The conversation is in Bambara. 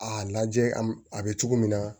A lajɛ a bɛ cogo min na